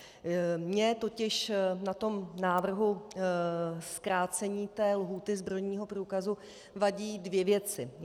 Mně totiž na tom návrhu zkrácení té lhůty zbrojního průkazu vadí dvě věci.